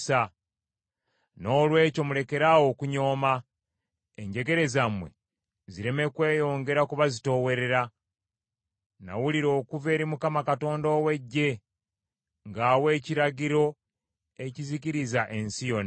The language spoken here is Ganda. Noolwekyo mulekeraawo okunyooma, enjegere zammwe zireme kweyongera kubazitoowerera. Nawulira okuva eri Mukama Katonda ow’Eggye ng’awa ekiragiro ekizikiriza ensi yonna.